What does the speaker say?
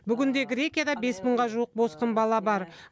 бүгінде грекияда бес мыңға жуық босқын бала бар